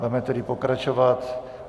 Budeme tedy pokračovat.